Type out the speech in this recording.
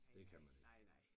Det kan man ikke